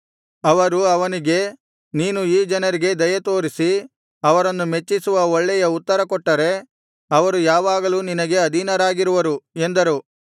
ಅವರು ಅವನಿಗೆ ನೀನು ಈ ಜನರಿಗೆ ದಯತೋರಿಸಿ ಅವರನ್ನು ಮೆಚ್ಚಿಸುವ ಒಳ್ಳೆಯ ಉತ್ತರ ಕೊಟ್ಟರೆ ಅವರು ಯಾವಾಗಲೂ ನಿನಗೆ ಅಧೀನರಾಗಿರುವರು ಎಂದರು